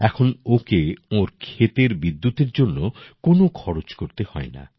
এখন ওকে ওর ক্ষেতের বিদ্যুতের জন্য কোন খরচা করতে হয়না